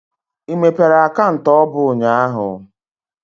I mepere akaụntụ ọbụ ụnyaahụ?